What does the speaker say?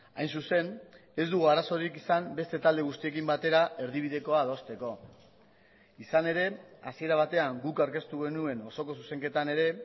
hain zuzen ez dugu arazorik izan beste talde guztiekin batera erdibidekoa adosteko izan ere hasiera batean guk aurkeztu genuen osoko zuzenketan ere